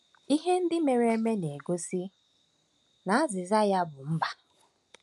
Ihe ndị mere eme na-egosi na azịza ya bụ mbà.